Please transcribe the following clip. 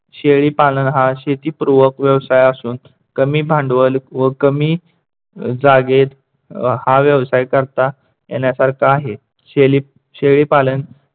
शेळीपालन हा शेतीपूर्वक व्यवसाय असून कमी भांडवल व कमी जागेत हा व्यवसाय करता येण्यासारखा आहे. शेली शेळीपालन